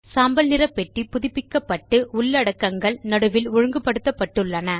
சாம்பல் நிற பெட்டி புதுப்பிக்கப்பட்டு உள்ளடக்கங்கள் நடுவில் ஒழுங்கு படுத்தப்பட்டுள்ளன